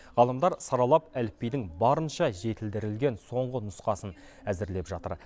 ғалымдар саралап әліпбидің барынша жетілдірілген соңғы нұсқасын әзірлеп жатыр